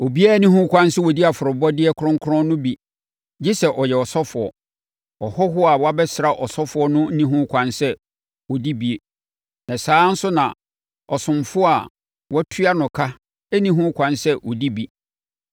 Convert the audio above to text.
“Obiara nni ho kwan sɛ ɔdi afɔrebɔdeɛ kronkron no bi gye sɛ ɔyɛ ɔsɔfoɔ. Ɔhɔhoɔ a wabɛsra ɔsɔfoɔ no nni ho kwan sɛ ɔdi bi. Na saa ara nso na ɔsomfoɔ a wɔtua no ka nni ho kwan sɛ ɔdi bi.